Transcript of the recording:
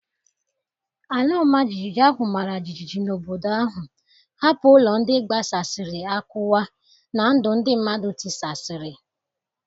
Ala ọmajiji ahụ mara jijiji n’obodo ahụ, hapụ ụlọ ndị gbasasịrị akụwa na ndụ ndị mmadụ tisasịrị.